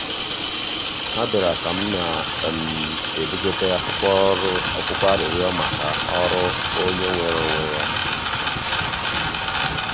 ha biara ka m na-ebugote akwụkwọ arịrịọ maka ọrụ onye nweere onwe ya.